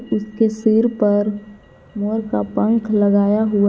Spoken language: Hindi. उसके सिर पर मोर का पंख लगाया हुआ है।